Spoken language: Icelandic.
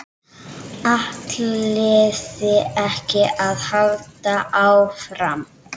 ÆTLIÐI EKKI AÐ HALDA ÁFRAM?